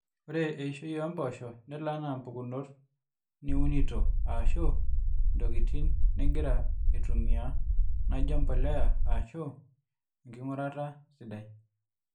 ore eishoi oomboosho nelo enaa impukunot niunito aashu intokitin nigira aitumia naaijo empolea aashu enking'urata sidai